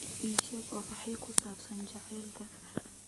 ii sheeg oraahyo ku saabsan jacaylka